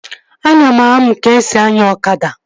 Ana m anụ ka-esi anya ọkada